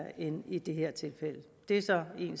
end i det her tilfælde det er så en